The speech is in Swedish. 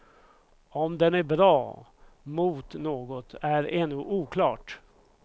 Om den är bra mot något är ännu oklart.